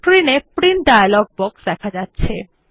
screen এ print dialog box দেখা যাচ্ছে